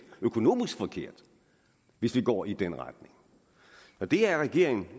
økonomisk forkert hvis vi går i den retning det er regeringen